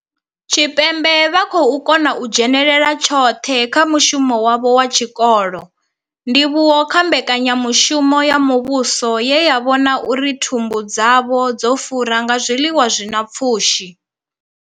Tshipembe vha khou kona u dzhenela tshoṱhe kha mushumo wavho wa tshikolo, ndivhuwo kha mbekanya mushumo ya muvhuso ye ya vhona uri thumbu dzavho dzo fura nga zwiḽiwa zwi na pfushi.